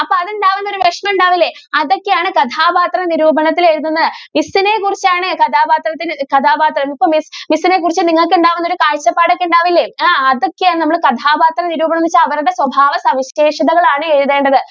അപ്പോ അതെന്തായാലും ഒരു വിഷമം ഉണ്ടാവില്ലേ? അതൊക്കെ ആണ് കഥാപാത്ര നിരൂപണത്തിൽ എഴുതുന്നത് miss നെ കുറിച്ച് ആണ് കഥാപാത്ര ~കഥാപാത്ര ~ miss നെ കുറിച്ച് നിങ്ങൾക്ക് ഉണ്ടാകുന്ന ഒരു കാഴ്ച്ചപ്പാടൊക്കെ ഉണ്ടാവില്ലേ ആ അതൊക്കെ ആണ് നമ്മൾ കഥാപാത്ര നിരൂപണത്തിൽ അവരുടെ സ്വഭാവ സവിശേഷതകൾ ആണ് എഴുതേണ്ടത്.